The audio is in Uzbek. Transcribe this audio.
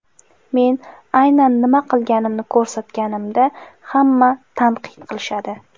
Men aynan nima qilganimni ko‘rsatganimda ham tanqid qilishadi”.